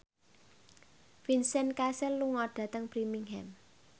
Vincent Cassel lunga dhateng Birmingham